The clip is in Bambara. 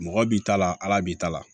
Mɔgɔ b'i ta la ala b'i ta la